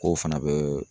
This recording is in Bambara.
K'o fana bɛ